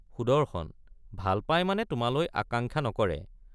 সুদৰ্শন— ভালপায় মানে তোমালৈ আকাঙ্ক্ষা নকৰে।